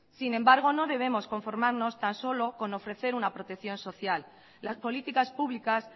sin embargo no debemos conformarnos tan solo con ofrecer una protección social las políticas públicas